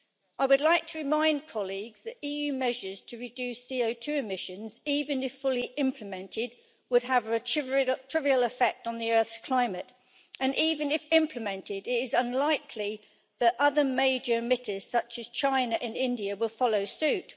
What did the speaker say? I would like to remind colleagues that EU measures to reduce CO2 emissions, even if fully implemented, would have a trivial effect on the Earth's climate, and even if they are implemented, it is unlikely that other major emitters such as China and India will follow suit.